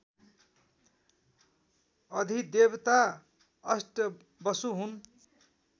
अधिदेवता अष्टवसु हुन्